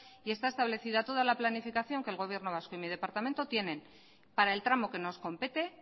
y está establecida toda la planificación que el gobierno vasco y mi departamento tienen para el tramo que nos compete